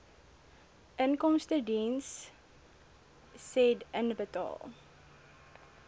inkomstediens said inbetaal